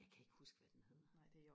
jeg kan ikke huske hvad den hedder